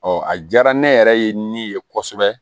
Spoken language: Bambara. a diyara ne yɛrɛ ye ne ye kosɛbɛ